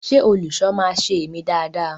Ṣe olùṣọ máa ṣe emi dáa dáa?